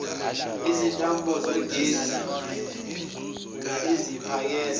izintambo zogesi eziphakela